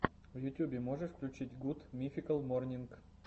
в ютюбе можешь включить гуд мификал морнинг